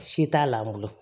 Si t'a la bolo